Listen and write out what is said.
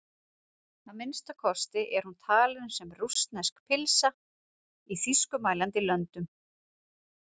Að minnsta kosti er hún talin sem rússnesk pylsa í þýskumælandi löndum.